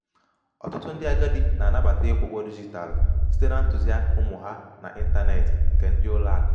ọtụtụ ndị agadi na-anabata ịkwụ ụgwọ dijitalụ site na ntuziaka ụmụ ha na intaneeti nke ndi ulo aku